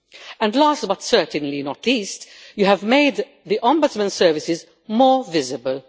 And last, but certainly not least, you have made the Ombudsman services more visible.